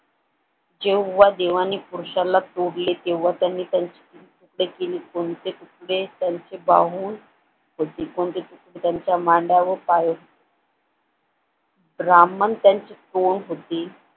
जेव्हा देवाने पुरुष्याला तोडले तेव्हा त्यांनी त्यांच्या ते त्यांचे बाहू होते त्यांच्या मांड्या व पाय रामन त्यांची कोण होती